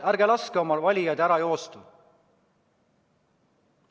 Ärge laske oma valijatel ära joosta!